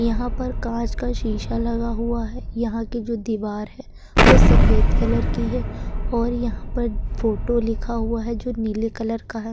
यहाँ पर कांच का शीशा लगा हुआ है। यहाँ की जों दीवार है वो सफेद कलर की है और यहाँ पर फोटो लिखा हुआ है जो नीले कलर का है।